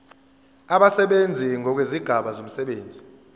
abasebenzi ngokwezigaba zomsebenzi